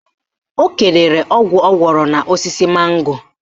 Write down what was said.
O kedoro ọgwụ ọ gwọrọ n'osisi mango